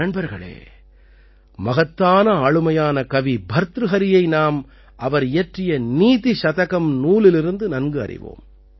நண்பர்களே மகத்தான ஆளுமையான கவி பர்த்ருஹரியை நாம் அவர் இயற்றிய நீதி சதகம் நூலிலிருந்து நன்கறிவோம்